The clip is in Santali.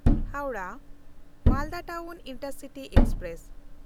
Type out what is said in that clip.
Howrah-Malda town intercity express